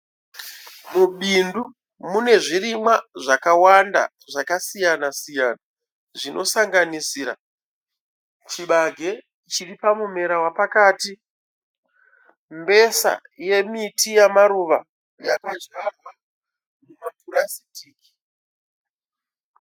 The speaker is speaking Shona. Mubindu mune zvirimwa zvakawanda zvakasiyana siyana. Zvinosanganisira chibage chiri pamumera wapakati mbesa yemiti wemaruva yakadyarwa mumapurasitiki.